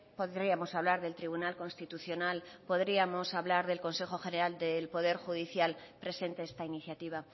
podríamos hablar del tribunal constitucional podríamos hablar del consejo general del poder judicial presente esta iniciativa